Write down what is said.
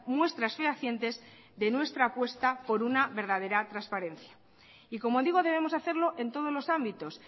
muestras fehacientes de nuestra apuesta por una verdadera transparencia y como digo debemos hacerlo en todos los ámbitos